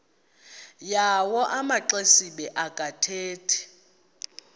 yawo amaxesibe akathethi